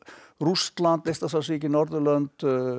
Rússland Eystrasaltsríkin Norðurlönd